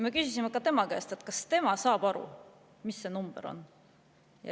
Me küsisime ka tema käest, kas tema saab aru, mis see number on.